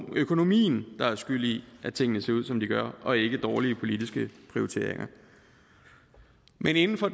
økonomien der er skyld i at tingene ser ud som de gør og ikke dårlige politiske prioriteringer men inden for